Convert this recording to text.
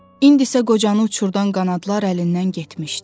İndi isə qocanı uçurdan qanadlar əlindən getmişdi.